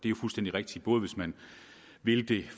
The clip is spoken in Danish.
rigtig god at vi